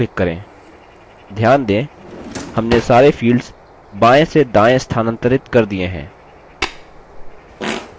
ध्यान दें हमने सारे fields बायें से दायें स्थानांतरित कर दिये हैं